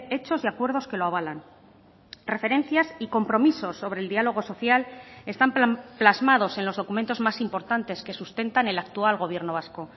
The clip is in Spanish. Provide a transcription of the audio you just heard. hechos y acuerdos que lo avalan referencias y compromisos sobre el diálogo social están plasmados en los documentos más importantes que sustentan el actual gobierno vasco